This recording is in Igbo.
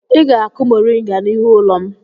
Ị ga-akụ mọrịnga n'ihu ụlọ m!